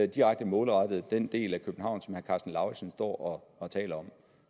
direkte målrettet den del af københavn som herre karsten lauritzen står og taler om